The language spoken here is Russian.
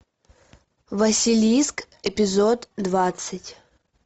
василиск эпизод двадцать